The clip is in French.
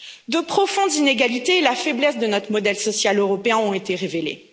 De profondes inégalités et la faiblesse de notre modèle social européen ont été révélées.